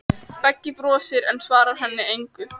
Beggi brosir, en svarar henni engu.